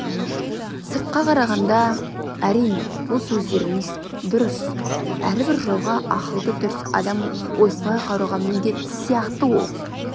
сырт қарағанда әрине бұл сөздеріңіз дұрыс әрбір жауға ақылды дұрыс адам осылай қарауға міндетті сияқты ол